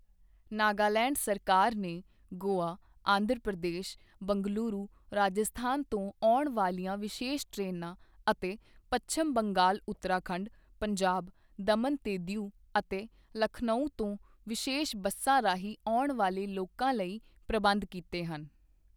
ਨਾਗਾਲੈਂਡ ਸਰਕਾਰ ਨੇ ਗੋਆ, ਆਂਧਰ ਪ੍ਰਦੇਸ਼, ਬੰਗਲੁਰੂ ਰਾਜਸਥਾਨ ਤੋਂ ਆਉਣ ਵਾਲੀਆਂ ਵਿਸ਼ੇਸ਼ ਟ੍ਰੇਨਾਂ ਅਤੇ ਪੱਛਮ ਬੰਗਾਲ ਉੱਤਰਾਖੰਡ, ਪੰਜਾਬ, ਦਮਨ ਤੇ ਦੀਉ ਅਤੇ ਲਖਨਊ ਤੋਂ ਵਿਸ਼ੇਸ਼ ਬੱਸਾਂ ਰਾਹੀਂ ਆਉਣ ਵਾਲੇ ਲੋਕਾਂ ਲਈ ਪ੍ਰਬੰਧ ਕੀਤੇ ਹਨ।